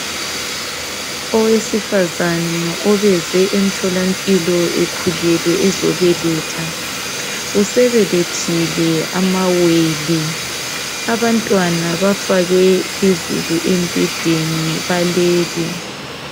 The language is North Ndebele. Owesifazane obeze emtholampilo ekhulelwe ezobeletha. Usebelethile amawele. Abantwana bafakwe phezulu embhedeni balele.